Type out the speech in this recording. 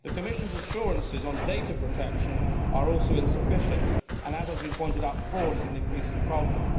The Commission's assurances on data protection are also insufficient, and as has been pointed out fraud is an increasing problem.